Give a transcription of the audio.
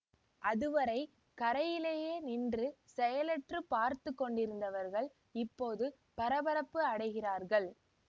அதுவரை கரையிலே நின்று செயலற்றுப் பார்த்துக்கொண்டிருந்தவர்கள் இப்போது பரபரப்பு அடைகிறார்கள்